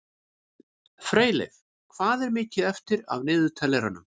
Freyleif, hvað er mikið eftir af niðurteljaranum?